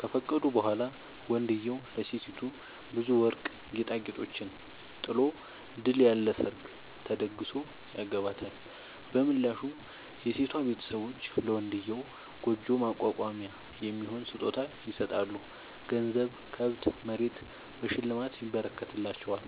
ከፈቀዱ በኋላ ወንድዬው ለሴቲቱ ብዙ ወርቅ ጌጣጌጦችን ጥሎ ድል ያለ ሰርግ ተደግሶ ያገባታል። በምላሹ የሴቷ ቤተሰቦች ለመንድዬው ጉጆ ማቋቋሚያ የሚሆን ስጦታ ይሰጣሉ ገንዘብ፣ ከብት፣ መሬት በሽልማት ይረከትላቸዋል።